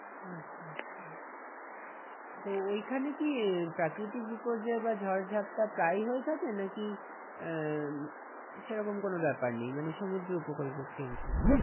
আচ্ছা আচ্ছা তো ওইখানে কি প্রাকৃতিক বিপর্যয় বা ঝড় ঝাপ্টা প্রায়ই হয়ে থাকে নাকি আহ সেরকম কোনো ব্যাপার নেই মানে সমুদ্র উপকূলবর্তী অঞ্চলে?